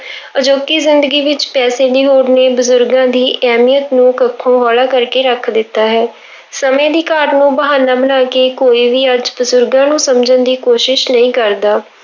ਅਜੋਕੀ ਜ਼ਿੰਦਗੀ ਵਿੱਚ ਪੈਸੇ ਦੀ ਹੋੜ ਨੇ ਬਜ਼ੁਰਗਾਂ ਦੀ ਅਹਿਮੀਅਤ ਨੂੰ ਕੱਖੋਂ ਹੋਲਾ ਕਰਕੇ ਰੱਖ ਦਿੱਤਾ ਹੈ ਸਮੇਂ ਦੀ ਘਾਟ ਨੂੰ ਬਹਾਨਾ ਬਣਾ ਕੇ ਕੋਈ ਵੀ ਅੱਜ ਬਜ਼ੁਰਗਾਂ ਨੂੰ ਸਮਝਣ ਦੀ ਕੋਸ਼ਿਸ਼ ਨਹੀਂ ਕਰਦਾ।